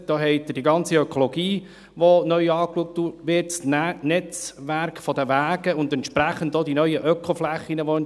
Da haben Sie die ganze Ökologie, die neu angeschaut wird, das Netzwerk der Wege und entsprechend auch die neu entstehenden Ökoflächen.